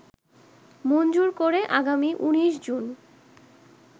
মঞ্জুরকরে আগামী১৯ জুন